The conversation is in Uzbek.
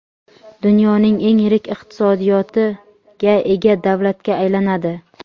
dunyoning eng yirik iqtisodiyotiga ega davlatga aylanadi.